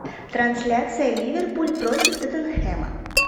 трансляция ливерпуль против тоттенхэма